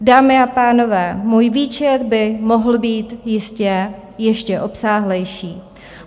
Dámy a pánové, můj výčet by mohl být jistě ještě obsáhlejší.